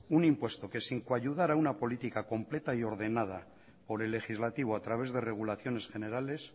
un impuesto que sin coadyuvar a una política completa y ordenada por el legislativo a través de regulaciones generales